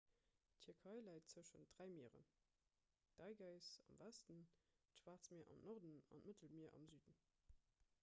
d'tierkei läit tëschent dräi mieren d'ägäis am westen d'schwaarzt mier am norden an d'mëttelmier am süden